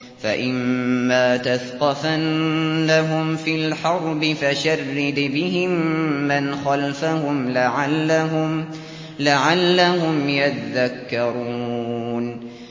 فَإِمَّا تَثْقَفَنَّهُمْ فِي الْحَرْبِ فَشَرِّدْ بِهِم مَّنْ خَلْفَهُمْ لَعَلَّهُمْ يَذَّكَّرُونَ